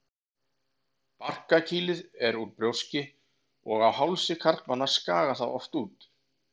Barkakýlið er úr brjóski og á hálsi karlmanna skagar það oft út.